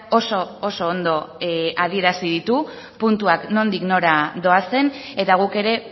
oso oso ondo adierazi ditu puntuak nondik nora doazen eta guk ere